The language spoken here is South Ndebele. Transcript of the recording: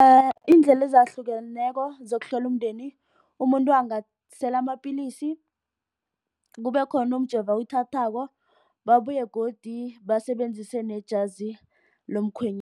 Iindlela ezahlukeneko zokuhlela umndeni umuntu angasela amapilisi. Kubekhona umjovo owuthathako, babuye godu basebenzise nejazi